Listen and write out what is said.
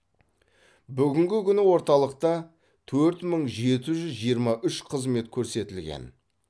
бүгінгі күні орталықта төрт мың жеті жүз жиырма үш қызмет көрсетілген